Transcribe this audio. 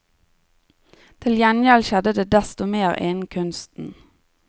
Til gjengjeld skjedde det desto mer innen kunsten.